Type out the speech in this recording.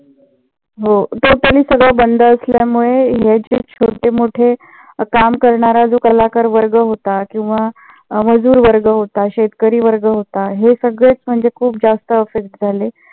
हो ते सगळ बंद असल्यामुळे हे जे छोटे मोठे काम करणारा जो कलाकार वर्ग होता किंवा मजूर वर्ग होता. शेतकरी वर्ग होता. हे सगळेच म्हणजे खूप जास्त affect झाले.